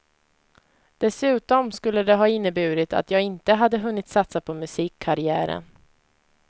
Dessutom skulle det ha inneburit att jag inte hade hunnit satsa på musikkarriären.